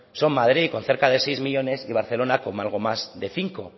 son madrid con cerca de seis millónes y barcelona con algo más de cinco